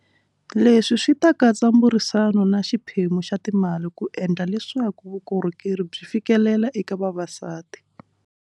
Leswi swi ta katsa mburisano na xiphemu xa timali ku endla leswaku vukorhokeri byi fikeleleka eka vavasati.